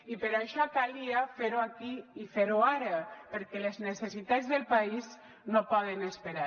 i per això calia fer ho aquí i fer ho ara perquè les necessitats del país no poden esperar